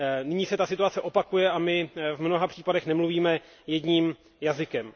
Nyní se ta situace opakuje a my v mnoha případech nemluvíme jedním hlasem.